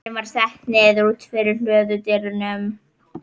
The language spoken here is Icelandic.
Vélin var sett niður úti fyrir hlöðudyrum.